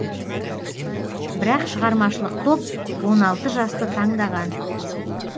бірақ шығармашылық топ он алты жасты таңдаған